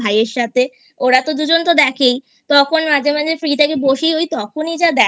ভাইয়ের সাথে ওরা তো দুজন তো দেখেই মাঝে মাঝে Free থাকি বসি ওই তখনই যা দেখা